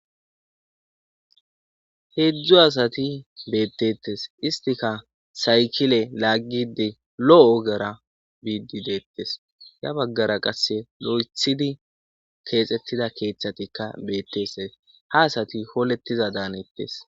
heedzdzu asati beettettes istika saykile laaggide lo7o ogara biidi deettes ya baggara qasse lo7ethidi keexxettida keeththatikka beettese ha asati holettiza daanettes